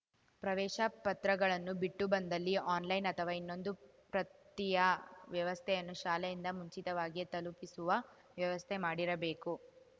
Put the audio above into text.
ಪ್ರವೇಶ ಪತ್ರಗಳನ್ನು ಬಿಟ್ಟು ಬಂದಲ್ಲಿ ಆನ್‌ಲೈನ್‌ ಅಥವಾ ಇನ್ನೊಂದು ಪ್ರತಿಯ ವ್ಯವಸ್ಥೆಯನ್ನು ಶಾಲೆಯಿಂದ ಮುಂಚಿತವಾಗಿಯೇ ತಲುಪಿಸುವ ವ್ಯವಸ್ಥೆ ಮಾಡಿರಬೇಕು